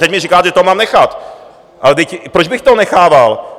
Teď mi říkáte, že toho mám nechat, ale proč bych toho nechával?